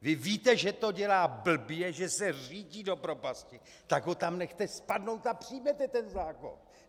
Vy víte, že to dělá blbě, že se řítí do propasti, tak ho tam nechte spadnout a přijměte ten zákon.